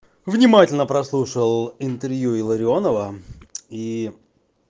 внимательно прослушал интервью илларионова и